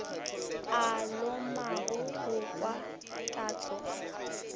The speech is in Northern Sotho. a lomago go kwa tatso